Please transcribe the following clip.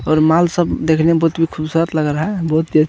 और माल सब देखने मे बहुत ही खूबसूरत लग रहा है बहुत ही आ--